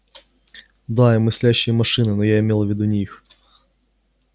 да и мыслящие машины но я имела в виду не их